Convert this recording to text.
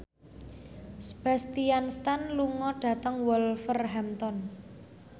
Sebastian Stan lunga dhateng Wolverhampton